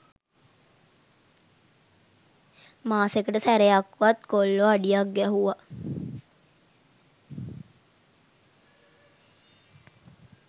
මාසෙකට සැරයක්වත් කොල්ලො අඩියක් ගැහුව